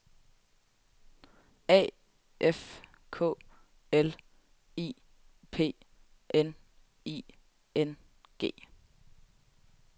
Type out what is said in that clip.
A F K L I P N I N G